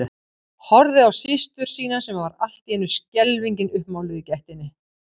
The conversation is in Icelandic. Horfði á systur sína sem var allt í einu skelfingin uppmáluð í gættinni.